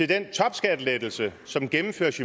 den topskattelettelser som gennemføres